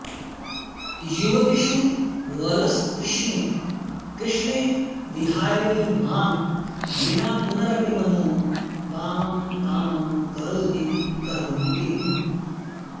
युवतिषु वलस्तृष्णे कृष्णे विहारिणि मां विना पुनरपि मनो वामं कामं करोति करोमि किम्